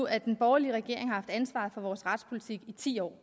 at den borgerlige regering har haft ansvaret for vores retspolitik i ti år